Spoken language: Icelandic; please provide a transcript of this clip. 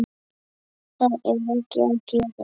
Það er ekki að gerast.